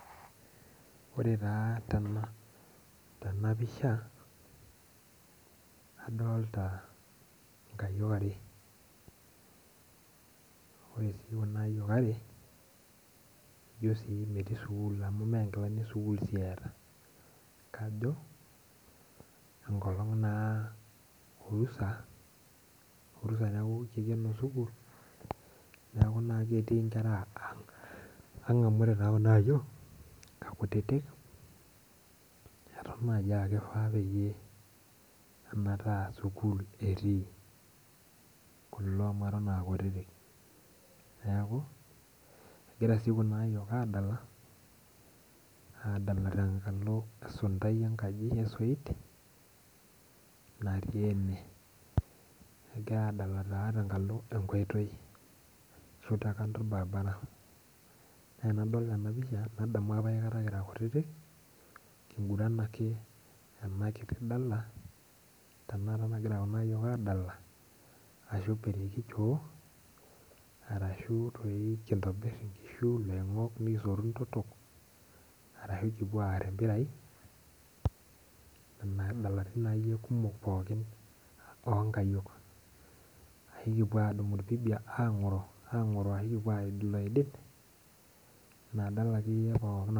Ore taa tenapisha adolta nkayiok are ore si kuna ayiok are metii sukul amu menkilani esukul eeta enkolong naa orusa neaku kikeno sukul neaku ketii nkera aang neaku ore kunaayiok akuttik atan nai akifaa metaa sukul etii kulo amu atan akuttik neaku egira kuna ayiok adala adala tenkalo esuntai esoit natii ene egira adalo tenkalo enkoitoi ashu tenkalo orbaribara neaku adok enapisha nadamu apa kira kutitik kinguran ake enakiti dala tanakata nagira kunaayiok adala ashu pirikichoo arashu toi kintokibir nkishu iloingok Arashu kupuo ar empira kira kumok onkayiok ekipuo qdumu irpibia angoro ashu kipuo aid oloidi inadala akeyie pookin.